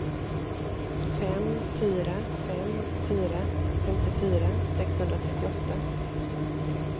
fem fyra fem fyra femtiofyra sexhundratrettioåtta